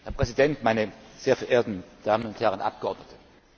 Herr Präsident, meine sehr verehrten Damen und Herren Abgeordnete!